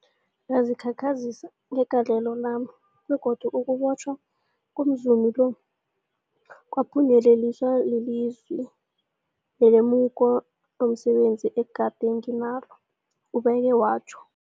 Ngazikhakhazisa ngegalelo lami, begodu ukubotjhwa komzumi lo kwaphunyeleliswa lilwazi nelemuko lomse benzi ebegade nginalo, ubeke watjho.